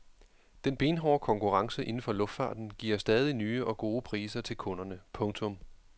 Den benhårde konkurrence inden for luftfarten giver stadig nye og gode priser til kunderne. punktum